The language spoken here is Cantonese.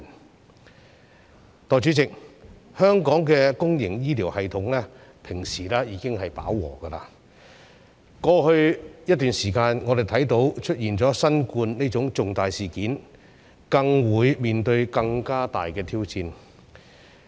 代理主席，香港的公營醫療系統平時已達飽和，過去一段時間，我們看到出現新冠這種重大事件，更是面對更大的挑戰。